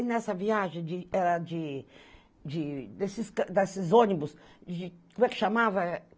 E nessa viagem de, era de de... desses desses ônibus, de... como é que chamava?